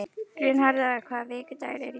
Gunnharða, hvaða vikudagur er í dag?